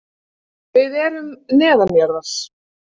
Við erum neðanjarðar.